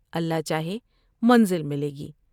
اللہ چاہے منزل ملے گی ۔